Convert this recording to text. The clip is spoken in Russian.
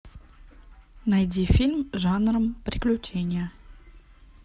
найди фильм жанром приключения